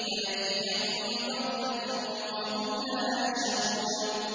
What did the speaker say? فَيَأْتِيَهُم بَغْتَةً وَهُمْ لَا يَشْعُرُونَ